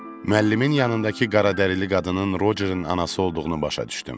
Müəllimin yanındakı qaradərili qadının Rocerin anası olduğunu başa düşdüm.